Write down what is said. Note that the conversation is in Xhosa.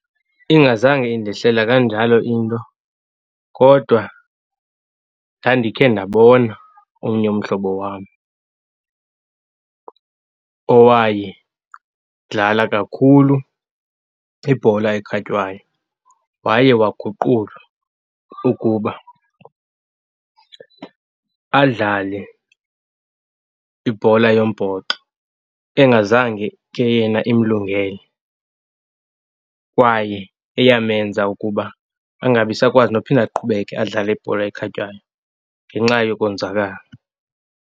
Ingazange indehlela kanjalo into kodwa ndandikhe ndabona omnye umhlobo wam owayedlala kakhulu ibhola ekhatywayo. Waye waguqulwa ukuba adlale ibhola yombhoxo engazange ke yena imlungele kwaye eyamenza ukuba angabi sakwazi nophinda aqhubeke adlale ibhola ekhatywayo ngenxa yokonzakala.